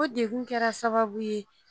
o dekun kɛra sababu ye